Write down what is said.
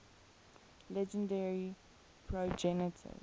legendary progenitors